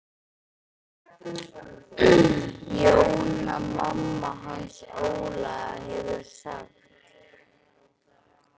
Jóna mamma hans Óla hefur sagt.